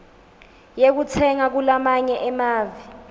yekutsenga kulamanye emave